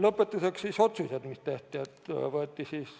Lõpetuseks otsused, mis tehti.